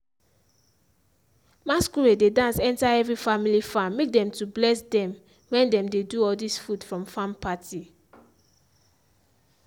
masquerade dey dance enter every family farm make dem to bless dem wen dem dey do all dis food from farm party.